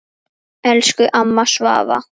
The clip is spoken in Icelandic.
Elsku amma Svava.